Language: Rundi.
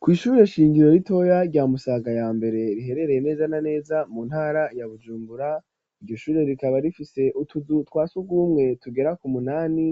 Kw'ishubire shingiro ritoya rya musaga ya mbere riherereye neza na neza mu ntara ya Bujumbura iryo shure rikaba rifise utuzu twasugumwe tugera ku munani